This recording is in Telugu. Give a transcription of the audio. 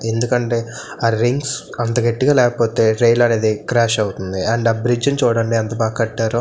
ఎందుకంటే ఆ రింగ్ స్ అంత గట్టిగా లేకపోతే రైల్ అనేది క్రాష్ అవుతుంది అండ్ ఆ బ్రిడ్జ్ ని చూడండి ఎంత బాగా కట్టారో--